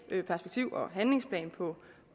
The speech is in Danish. perspektiv og handlingsplan